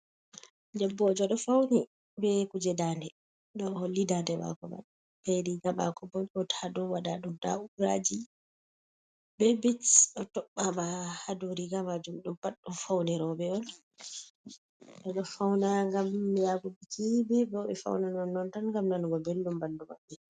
Debbojo ɗo fauni be kuje dande, ɗo holli dande mako be rigamako bot ha dao waɗaɗum dauraji be bit o tobɓama ha dou rigamajum ɗum bat ɗum faunirobe on, ɗo fauna gam yahuki bo biki bebo ɓe fauna non non tan ngam nanugo beldum bandu banni.